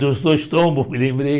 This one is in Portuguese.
Dos dois tombos, me lembrei.